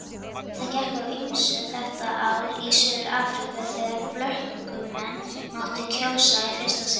Það gekk á ýmsu þetta ár í Suður-Afríku þegar blökkumenn máttu kjósa í fyrsta sinn.